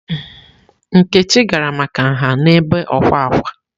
Nkechi gara maka nha n'ebe ọkwà ákwá.